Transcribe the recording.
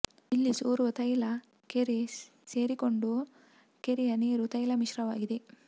ಇಲ್ಲಿ ಸೋರುವ ತೈಲ ಕೆರೆ ಸೇರಿಕೊಂಡು ಕೆರೆಯ ನೀರು ತೈಲ ಮಿಶ್ರವಾಗಿದೆ